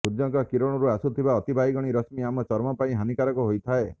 ସୂର୍ଯ୍ୟଙ୍କ କିରଣରୁ ଆସୁଥିବା ଅତିବାଇଗଣୀ ରଶ୍ମୀ ଆମ ଚର୍ମ ପାଇଁ ହାନିକାରକ ହୋଇଥାଏ